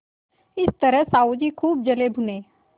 इस तरह साहु जी खूब जलेभुने